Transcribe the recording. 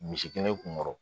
Misi kelen kun kɔrɔ